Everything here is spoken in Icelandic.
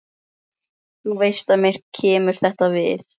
Þú veist að mér kemur þetta við.